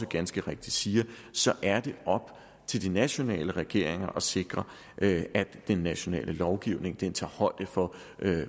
ganske rigtigt siger er det op til de nationale regeringer at sikre at den nationale lovgivning tager højde for